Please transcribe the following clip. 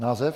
Název?